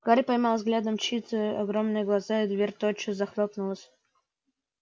гарри поймал взглядом чьи-то огромные глаза и дверь тотчас захлопнулась